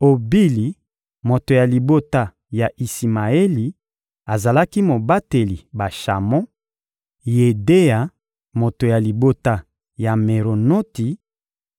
Obili, moto ya libota ya Isimaeli, azalaki mobateli bashamo; Yedeya, moto ya libota ya Meronoti,